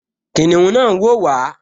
Kìnìún náà n wò wá